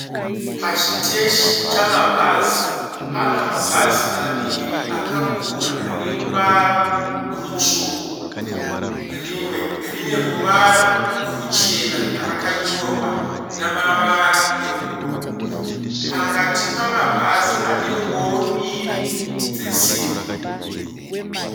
Pachiteshi chamabhazi pana mabhazi maviri akakura ane ruvara rutsvuku, rimwe rine ruvara ruchena rakanyorwa namavara ebhru, pakati pamabhazi pane ngoro mbiri dzesimbi.